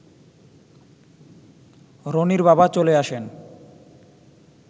রনির বাবা চলে আসেন